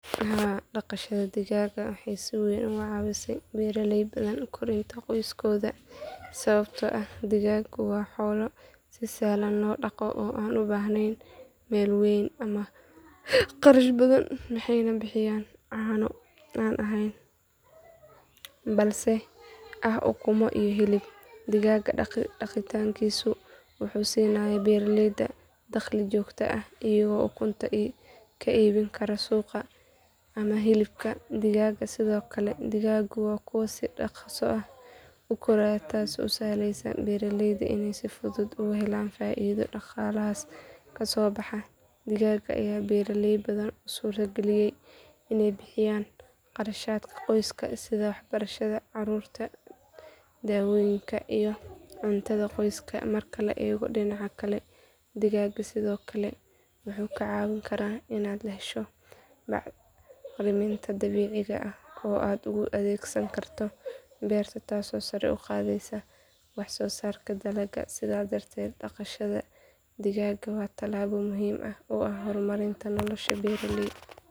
Haa dhaqashada digaaga waxay si weyn uga caawisay beeralay badan korinta qoysaskooda sababtoo ah digaagu waa xoolo si sahlan loo dhaqdo oo aan u baahnayn meel weyn ama kharash badan waxayna bixiyaan caano aan ahayn balse ah ukumo iyo hilib digaaga dhaqankiisu wuxuu siinayaa beeralayda dakhli joogto ah iyagoo ukunta ka iibin kara suuqa ama hilibka digaaga sidoo kale digaagu waa kuwo si dhakhso ah u koraya taasoo u sahlaysa beeralayda inay si fudud uga helaan faa’iido dhaqaalahaas ka soo baxa digaaga ayaa beeraley badan u suura geliyay inay bixiyaan kharashaadka qoyska sida waxbarashada carruurta daawooyinka iyo cuntada qoyska marka la eego dhinaca kale digaagu sidoo kale wuxuu kaa caawin karaa inaad hesho bacriminta dabiiciga ah oo aad ugu adeegsan karto beerta taasoo sare u qaadaysa waxsoosaarka dalagga sidaas darteed dhaqashada digaaga waa talaabo muhiim u ah horumarinta nolosha beeraleyda.